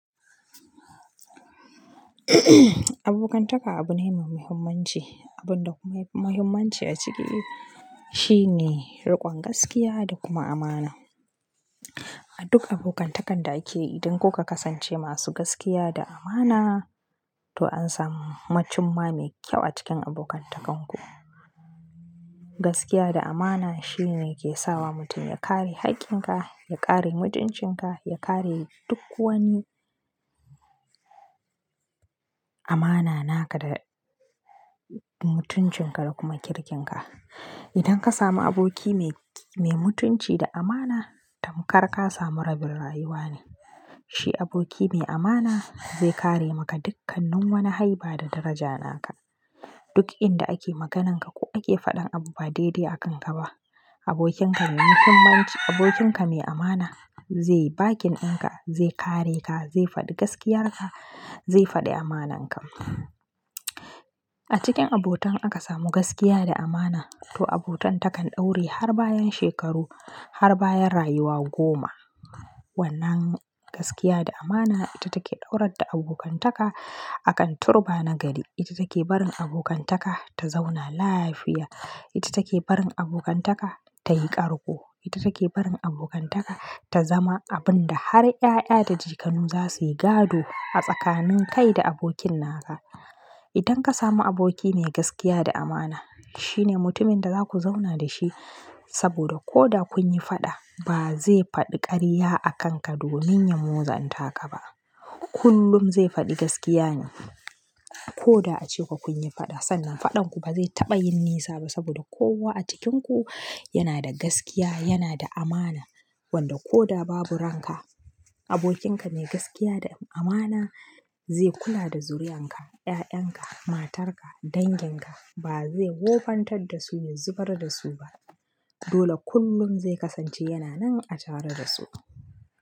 Abokantaka abu ne mai muhimmanci. Abun da kuma yake da muhimmanci a ciki shine riƙon gaskiya da kuma amana. A duk abokantakan da ake yi, idan kuka kasance masu gaskiya da amana to an samu cimma mai kyau a cikin abokantakanku. Gaskiya da amana shine ke sawa mutum ya kare hakkin ka, ya kare mutuncin ka, ya kare duk wani amana naka da mutuncin ka da kuma kirkin ka. Idan ka samu aboki mai, mai mutunci da amana to karka samu rabin rayuwa ne. Shi aboki mai amana zai kare maka dukkannin wani haiba da daraja naka. Duk inda ake maganinka ko ake faɗin abu ba daidai akan ka ba, abokin ka mai muhimmanci, abokin ka mai amana zai yi bakin in ka, zai kare ka, zai faɗi gaskiyar ka, zai faɗi amananka. A cikin abotan aka samu gaskiya da amana to abotan takan ɗore har bayan shekaru, har bayan rayuwa goma. Wannan gaskiya da amana ita take ɗaurar da abokantaka akan turba na gari. Ita take barin abokantaka ta zauna lafiya. Ita take barin abokantaka tayi ƙarƙo. Ita take barin abokantaka ta zama abun da har ƴaƴa da jikanu za suyi gado a tsakanin kai da abokin naka. Idan ka samu aboki mai gaskiya da amana shine mutumin da za ku zauna da shi saboda ko da kun yi faɗa ba zai faɗi ƙarya a kanka domin ya motsanta ka ba. Kullum zai faɗi gaskiya ne. Ko da a cewa kun yi faɗa sannan faɗanku ba zai taɓa yin nisa ba saboda kowa a cikinku yana da gaskiya, yana da amana. Wanda ko da babu ranka abokin ka mai gaskiya da amana zai kula da zuri'an ka, ƴaƴan ka, matar ka, dangin ka ba zai wofantar da su yin zubar da su ba. Dole kullum zai kasance yana nan a tare da su.